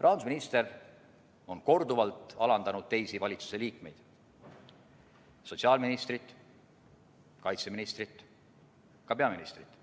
Rahandusminister on korduvalt alandanud teisi valitsuse liikmeid – sotsiaalministrit, kaitseministrit –, ka peaministrit,